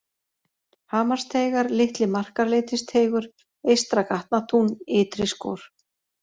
Hamarsteigar, Litli-Markarleitisteigur, Eystra-Gatnatún, Ytriskor